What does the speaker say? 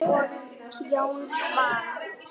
Jón Svan.